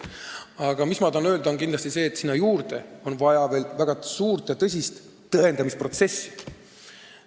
Aga ma tahan öelda, et sinna juurde on kindlasti vaja väga suurt ja tõsist tõendamisprotsessi.